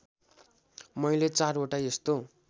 मैले चारवटा यस्तो